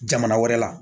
Jamana wɛrɛ la